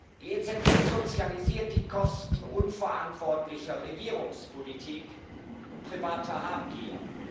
Die EZB sozialisiert die Kosten unverantwortlicher Regierungspolitik und privater Habgier.